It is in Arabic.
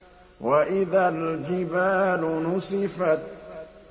وَإِذَا الْجِبَالُ نُسِفَتْ